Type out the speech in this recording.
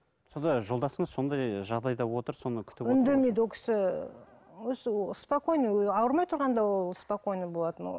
сонда жолдасыңыз сондай жағдайда отыр соны күтіп ол кісі осы спокойно ауырмай тұрғанда ол спокойно болатын ол